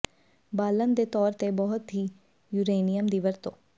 ਬਾਲਣ ਦੇ ਤੌਰ ਤੇ ਬਹੁਤ ਹੀ ਯੂਰੇਨੀਅਮ ਦੀ ਵਰਤੋ